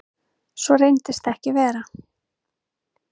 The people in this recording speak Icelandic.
Svo reyndist ekki vera